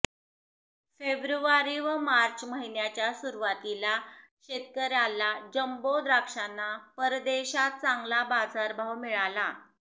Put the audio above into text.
February व मार्च महिन्याच्या सुरुवातीला शेतकऱ्यांला जंबो द्राक्षांना परदेशात चांगला बाजारभाव मिळाला